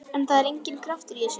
En það var enginn kraftur í þessu.